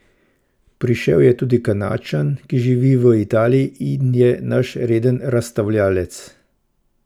Prišel je tudi Kanadčan, ki živi v Italiji in je naš reden razstavljavec.